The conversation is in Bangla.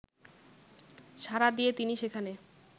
সাড়া দিয়ে তিনি সেখানে